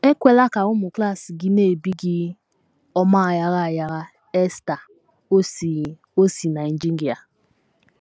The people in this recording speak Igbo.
“ Ekwela ka ụmụ klas gị na - ebi gị ọmà aghara aghara. ” Esther, o si o si Nigeria.